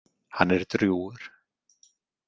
Hann er drjúgur.